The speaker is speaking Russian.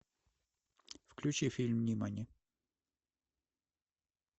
включи фильм нимани